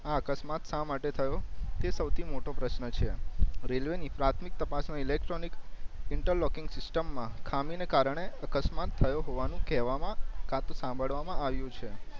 અકસ્માત સા માટે થયો તે સૌથી મોટો પ્રશ્ન છે રેલ્વે ની પ્રાથમિક તપાસ ઇલોકટ્રોનિક ઇન્ટરલોકઇંગ સિસ્ટમ માં ખામી ના કારણે અકસ્માત થયો હોવાનું કેવામાં કાતો સાંભળવામાં આવ્યું છે